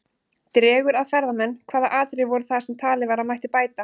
Dregur að ferðamenn Hvaða atriði voru það sem talið var að mætti bæta?